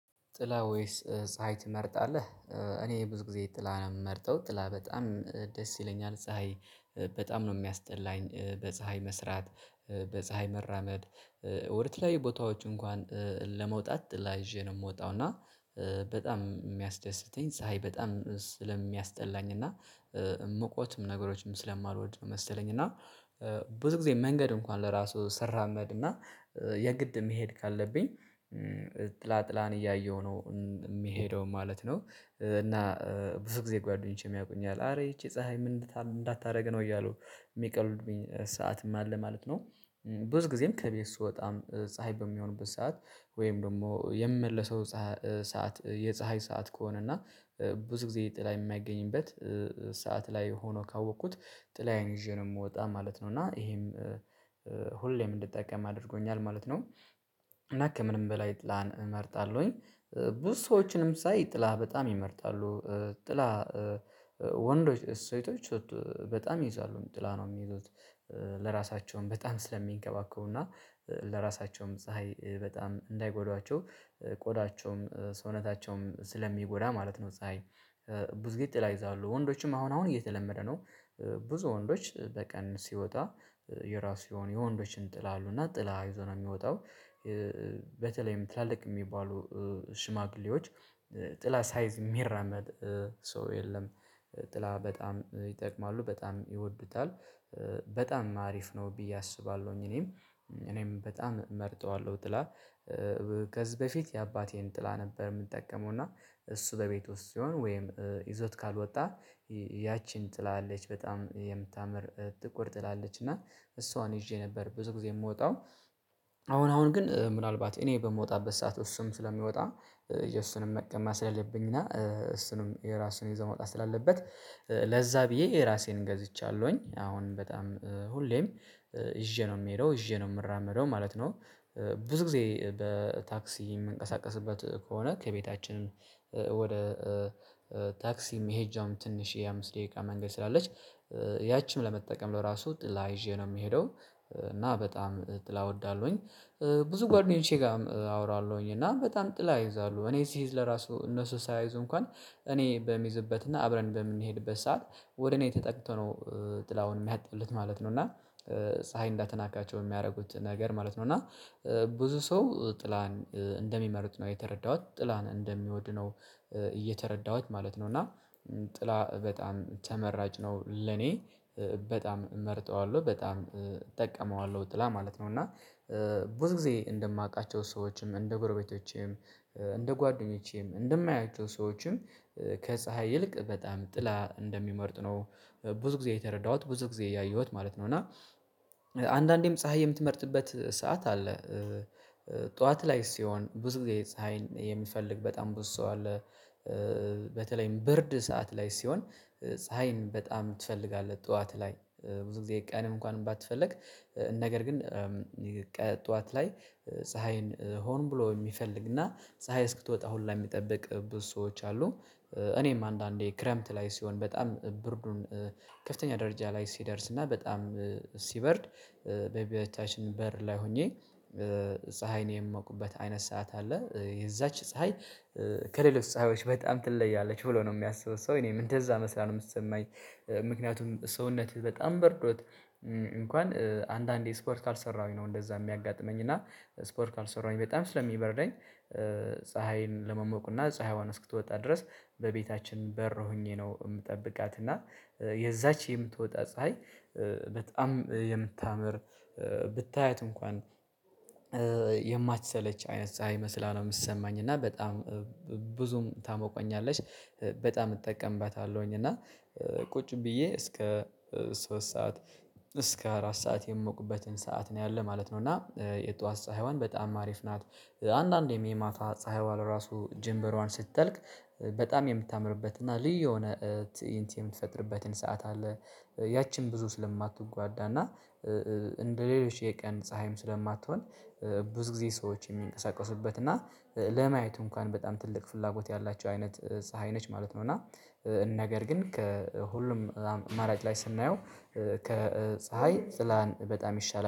ጥላ ወይስ ፀሀይ ትመርጣለህ? እኔ ብዙ ጊዜ ጥላ ነው የምመርጠው ጥላ በጣም ደስ ይለኛል። ፀሀይ በጣም ነው የሚያስጠላኝ በፀሀይ መስራት፣ በፀሀይ መራመድ፣ ወደ ተለያዩ ቦታዎች እንኳን ለመውጣት ጥላ ይዤ ነው የምወጣው እና በጣም የሚያስደስተኝ ፀሀይ በጣም ስለሚስጠላኝ እና ሙቀት ነገሮችም ስለማልወድ መሰለኝ እና ብዙ ጊዜ መንገድ እንኳን ለራሱ ስራመድማ የግድ መሄድ ካለብኝ ጥላ ጥላን እያየሁ ነው የሚሄደው ማለት ነው እና ብዙ ጊዜ ጓደኞቼም ያውቁኛል አረ ይቺ ፀሀይ ምን እንዳታደርግ ነው እያሉ የሚቀልዱብኝም ሰዓትም አለ ማለት ነው። ብዙ ጊዜም ከቤት ስወጣም ፀሀይ በሚሆንበት ሰዓት ወይም ደግሞ የምመለሰው ሰዓት የፀሀይ ሰዓት ከሆነ እና ብዙ ጊዜ ጥላ የማይገኝበት ሰዓት ላይ ሆኖ ካወቅኩት ጥላዬን ይዤ ነው የምወጣ ማለት ነው እና ይሄም ሁሌም እንድጠቀም አድርጎኛል ማለት ነው እና ከምንም በላይ ጥላን እመርጣለሁኝ ብዙ ሰዎችንም ሳይ ጥላ በጣም ይመርጣሉ። ጥላ ወንዶች ሴቶች በጣም ይይዛሉ ጥላ ነው የሚሉት ለራሳቸውም በጣም ስለሚንከባከቡና ለራሳቸውም ፀሀይ በጣም እንዳይጎዳቸው ቆዳቸውንም ሰውነታቸውንም ስለሚጎዳ ማለት ነው ፀሀይ ብዙ ግዜ ጥላ ይይዛሉ። ወንዶችም አሁን አሁን እየተለመደ ነው ብዙ ወንዶች በቀን ሲወጣ የራሱ የሆኑ የወንዶችን ጥላ አሉ እና ጥላ ይዞ ነው የሚወጣው በተለይም ትላልቅ የሚባሉ ሽማግሌዎች ጥላ ሳይዝ የሚራመድ ሰው የለም። ጥላ በጣም ይጠቀማሉ በጣም ይወዱታል በጣም አሪፍ ነው ብዬ አስባለሁኝ እኔም እኔም በጣም እመርጠዋለሁ ጥላ ከዚህ በፊት የአባቴን ጥላ ነበር የምጠቀመው እና እሱ በቤት ውስጥ ሲሆን ወይም ይዞት ካልወጣ ያቺን ጥላ አለች በጣም የምታምር ጥቁር ጥላ አለች እና እሷን ይዤ ነበር ብዙ ጊዜ የምወጣው አሁን አሁን ግን ምናልባት እኔ በምወጣበት ሰዓት እሱም ስለሚወጣ የእሱንም መቀማት ስለሌብኝና እሱም የራሱን ይዞ መውጣት ስላለበት ለዛ ብዬ የራሴን ገዝቻለሁኝ አሁን በጣም ሁሌም ይዤ ነው የምሄደው ይዤ ነው የምራመደው ማለት ነው ብዙ ጊዜ በታክሲ የምንቀሳቀስበት ከሆነ ከቤታችንም ወደ ታክሲም መሄጃም ትንሽ የአምስት ደቂቃ መንገድ ስላለች ያቺን ለመጠቀም ለራሱ ጥላ ይዤ ነው የምሄደው እና በጣም ጥላ እወዳለሁኝ። ብዙ ጓደኞቼ ጋርም አወራለሁኝ እና በጣም ጥላ ይይዛሉ እኔ ስይዝ ለራሱ እነሱ ሳይዙ እንኳን እኔ በሚይዝበትና አብረን በምንሄድበት ሰዓት ወደ እኔ ተጠግቶ ነው ጥላውን የሚያጥሉት ማለት ነው እና ፀሀይ እንዳትናካቸው የሚያደርጉት ነገር ማለት ነው እና ብዙ ሰው ጥላን እንደሚመርጥ ነው የተረዳሁት ጥላን እንደሚወድ ነው የተረዳሁት ማለት ነው እና ጥላ በጣም ተመራጭ ነው ለኔ በጣም እመርጠዋለሁ በጣም እጠቀመዋለሁ ጥላ ማለት ነው። እና ብዙ ጊዜ እንደማውቃቸው ሰዎችም እንደ ጎረቤቶቼም እንደ ጓደኞቼም እንደማያቸው ሰዎችም ከፀሀይ ይልቅ በጣም ጥላ እንደሚመርጥ ነው ብዙ ጊዜ የተረዳሁት ብዙ ጊዜ ያየሁት ማለት ነው እና አንዳንዴም ፀሀይ የምትመርጥበት ሰዓት አለ ጠዋት ላይ ሲሆን ብዙ ጊዜ ፀሀይን የሚፈልግ በጣም ብዙ ሰው አለ። በተለይም ብርድ ሰዓት ላይ ሲሆን ፀሀይን በጣም ትፈልጋለህ ጠዋት ላይ ብዙ ጊዜ ቀንም እንኳን ባትፈልግ ነገር ግን ጠዋት ላይ ፀሀይን ሆን ብሎ የሚፈልግና ፀሀይ እስክትወጣ ሁላ የሚጠብቅ ብዙ ሰዎች አሉ። እኔም አንዳንዴ ክረምት ላይ ሲሆን በጣም ብርዱን ከፍተኛ ደረጃ ላይ ሲደርስና በጣም ሲበርድ በቤታችን በር ላይ ሆኜ ፀሀይን የምሞቅበት አይነት ሰዓት አለ። የዛች ፀሀይ ከሌሎች ፀሀዮች በጣም ትለያለች ብሎ ነው የሚያስበው ሰው እኔም እንደዛ መስራት ነው የምሰማኝ ምክንያቱም ሰውነትህ በጣም በርዶት እንኳን አንዳንዴ ስፖርት ካልሰራሁኝ ነው እንደዛ የሚያጋጥመኝ እና ስፖርት ካልሰራሁኝ በጣም ስለሚበረደኝ ፀሀይን ለመሞቁና ፀሀይዋን እስክትወጣ ድረስ በቤታችን በር ሆኜ ነው የምጠብቃት እና የዛች የምትወጣ ፀሀይ በጣም የምታምር ብታያት እንኳን የማትሰለች አይነት ፀሀይ መስላ ነው የምትሰማኝ እና በጣም ብዙም ታሞቀኛለሽ በጣም እጠቀምባታለሁኝ እና ቁጭ ብዬ እስከ ሶስት ሰዓት እስከ አራት ሰዓት የምሞቅበትን ሰዓት ነው ያለው ማለት ነው እና የጧት ፀሀይዋን በጣም አሪፍ ናት። አንዳንዴም የማታ ፀሀይዋ ራሱ ጀምበሯ ስትጠልቅ በጣም የምታምርበት እና ልዩ የሆነ ትእይንት የምትፈጥርበትም ሰዓት አለ፣ ያቺን ብዙ ስለማትጎዳና እንደ ሌሎች የቀን ፀሀይም ስለማትሆን ብዙ ጊዜ ሰዎች የሚንቀሳቀሱበት እና ለማየቱ እንኳን በጣም ትልቅ ፍላጎት ያላቸው አይነት ፀሀይ ነች ማለት ነው እና ነገር ግን ከሁሉም አማራጭ ላይ ስናየው ከፀሀይ ጥላን በጣም ይሻላል።